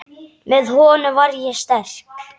Með honum var ég sterk.